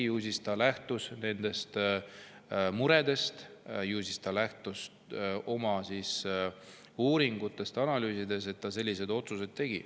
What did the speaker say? Ju ta siis lähtus nendest muredest ning oma uuringutest ja analüüsidest.